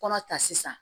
Kɔnɔ ta sisan